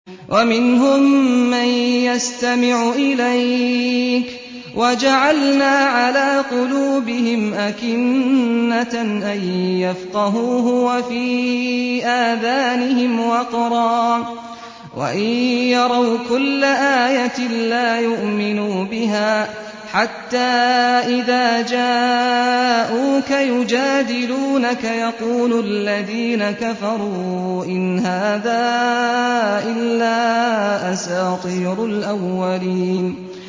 وَمِنْهُم مَّن يَسْتَمِعُ إِلَيْكَ ۖ وَجَعَلْنَا عَلَىٰ قُلُوبِهِمْ أَكِنَّةً أَن يَفْقَهُوهُ وَفِي آذَانِهِمْ وَقْرًا ۚ وَإِن يَرَوْا كُلَّ آيَةٍ لَّا يُؤْمِنُوا بِهَا ۚ حَتَّىٰ إِذَا جَاءُوكَ يُجَادِلُونَكَ يَقُولُ الَّذِينَ كَفَرُوا إِنْ هَٰذَا إِلَّا أَسَاطِيرُ الْأَوَّلِينَ